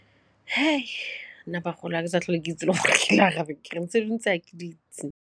Nna bagolo ga ke sa tlhole ke itse le gore ke arabe ke reng tse dingwe tse ga ke di itse.